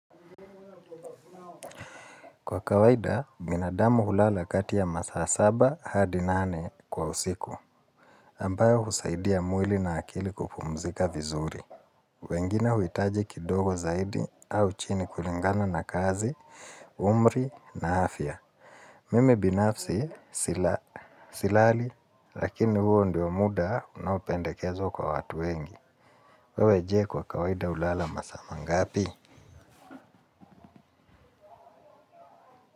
Kwa kawaida binadamu hulala kati ya masaa saba hadi nane kwa usiku ambayo husaidia mwili na akili kupumzika vizuri. Wengine huhitaji kidogo zaidi au chini kulingana na kazi, umri na afya. Mimi binafsi silali, lakini huo ndio muda unaopendekezwa kwa watu wengi. Wewe je kwa kawaida hulala masaa mangapi.